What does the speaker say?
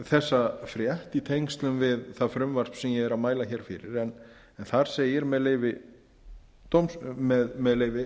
þessa frétt í tengslum við það frumvarp sem ég er að mæla fyrir en þar segir með leyfi